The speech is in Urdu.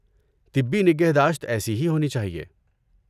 طبی نگہداشت ایسی ہی ہونی چاہیے۔